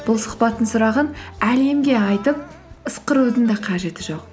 бұл сұхбаттың сұрағын әлемге айтып ысқырудың да қажеті жоқ